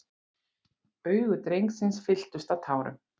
Augu drengsins fylltust af tárum.